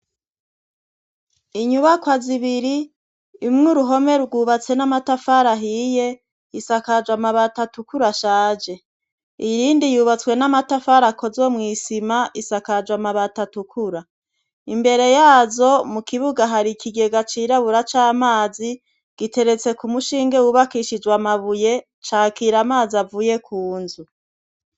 inyubakwa zibiri imwe uruhome rwubatse n'amatafara ahiye isakajwa mabata tukura ashaje iyi rindi yubatswe n'amatafara akozwe mwisima isakajwa mabata tukura imbere yazo mu kibuga hari ikigega cirabura cy'amazi giteretse ku mushinge wubakishijwe amabuye cakira amazi avuye ku nzu